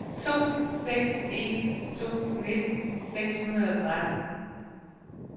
to seks en to nitten seks hundrede og tretten